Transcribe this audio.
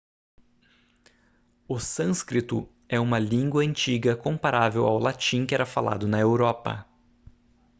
o sânscrito é uma língua antiga comparável ao latim que era falado na europa